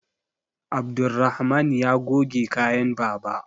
Abdulrahaman yana goge kayan baba